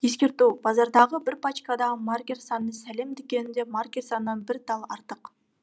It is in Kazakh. ескерту базардағы бір пачкадағы маркер саны сәлем дүкеніндегі маркер санынан бір тал артық